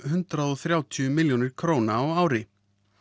hundrað og þrjátíu milljóna króna á ári